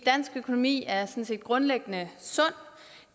dansk økonomi er grundlæggende sund